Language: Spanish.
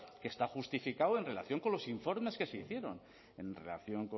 que está justificado en relación con los informes que se hicieron en relación